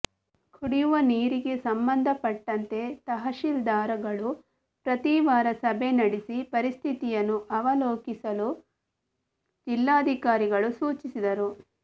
ಕುಡಿಯುವ ನೀರಿಗೆ ಸಂಬಂಧಪಟ್ಟಂತೆ ತಹಶೀಲ್ದಾರ್ಗಳು ಪ್ರತೀವಾರ ಸಭೆ ನಡೆಸಿ ಪರಿಸ್ಥಿತಿಯನ್ನು ಅವಲೋಕಿಸಲು ಜಿಲ್ಲಾಧಿಕಾರಿಗಳು ಸೂಚಿಸಿದರು